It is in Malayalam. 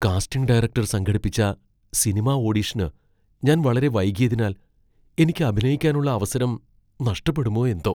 കാസ്റ്റിംഗ് ഡയറക്ടർ സംഘടിപ്പിച്ച സിനിമാ ഓഡിഷന് ഞാൻ വളരെ വൈകിയതിനാൽ എനിക്ക് അഭിനയിക്കാനുള്ള അവസരം നഷ്ടപ്പെടുമോ എന്തോ.